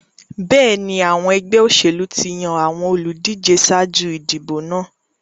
Bẹ́ẹ̀ni, àwọn ẹgbẹ́ òṣèlú ti yan àwọn olùdíje ṣáájú ìdìbò náà.